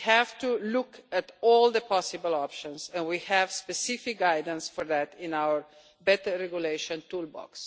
We have to look at all the possible options and we have specific guidance for that in our better regulation toolbox.